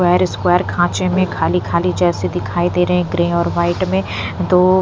क्वायर square खाँचे में खाली खाली जैसे दिखाई दे रहे हैं ग्रे और व्हाइट में दो --